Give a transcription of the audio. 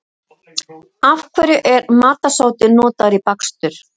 Af hverju er matarsódi notaður í bakstur?